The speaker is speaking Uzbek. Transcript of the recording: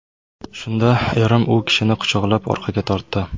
Shunda erim u kishini quchoqlab orqaga tortdi.